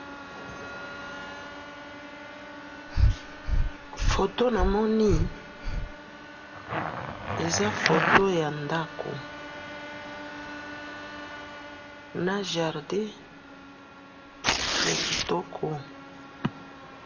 Foto namoni, eza foto yandako na jardin yakitoko.